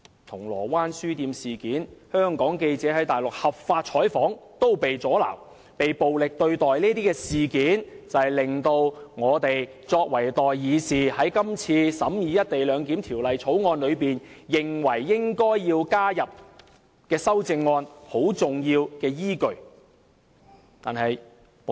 銅鑼灣書店事件、香港記者在內地合法採訪被阻撓和暴力對待的事件，就是令我們作為代議士，認為應該在今次審議《條例草案》時提出修正案的重要依據。